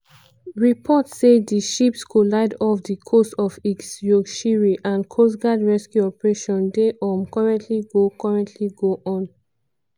reports say di ships collide off di coast of east yorkshire and coastguard rescue operation dey um currently go currently go on.